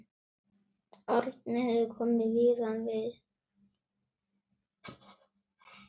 Árni hefur komið víða við.